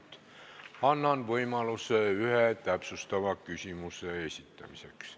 Annan iga teema arutelul võimaluse ühe täpsustava küsimuse esitamiseks.